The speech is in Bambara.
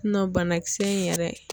banakisɛ in yɛrɛ.